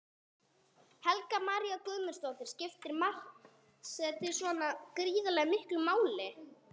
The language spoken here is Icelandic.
Helga María Guðmundsdóttir: Skiptir markaðssetning svona gríðarlega miklu máli?